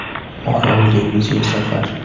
(Orol dengiziga safar).